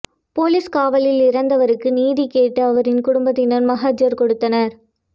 police காவலில் இறந்தவருக்கு நீதி கேட்டு அவரின் குடும்பத்தார் மகஜர் கொடுத்தனர்